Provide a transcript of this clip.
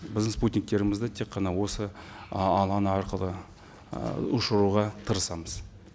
біздің спутниктерімізді тек қана осы ы алаң арқылы ы ұшыруға тырысамыз